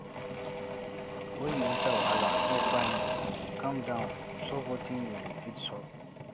when you enter wahala no panic calm down solve wetin you fit solve